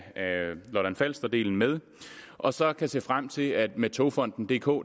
lolland falster delen med og så kan se frem til at med togfonden dk